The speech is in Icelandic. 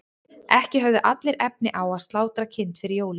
ekki höfðu allir efni á að slátra kind fyrir jólin